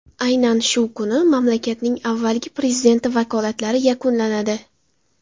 Aynan shu kuni mamlakatning avvalgi prezidenti vakolatlari yakunlanadi.